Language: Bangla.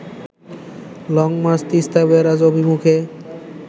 লং মার্চ তিস্তা ব্যারাজ অভিমুখে